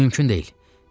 Mümkün deyil.